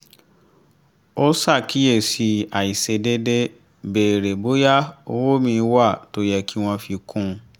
ó ṣàkíyèsí àìṣedéédé béèrè bóyá owó míì wà tó yẹ kí wọ́n fi kún un